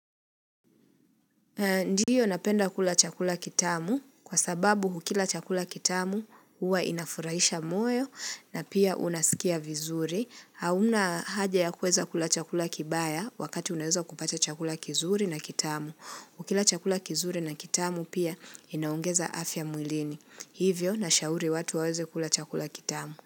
Ndiyo napenda kula chakula kitamu kwa sababu ukila chakula kitamu Huwa inafurahisha moyo na pia unasikia vizuri, hauna haja ya kuweza kula chakula kibaya wakati uneza kupata chakula kizuri na kitamu, ukila chakula kizuri na kitamu pia inaongeza afya mwilini hivyo nashauri watu waweze kula chakula kitamu.